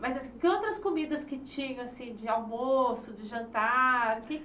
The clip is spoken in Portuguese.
Mas, assim, que outras comidas que tinha, assim, de almoço, de jantar? Que